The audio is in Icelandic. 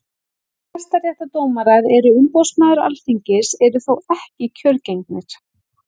Hæstaréttardómarar og umboðsmaður Alþingis eru þó ekki kjörgengir.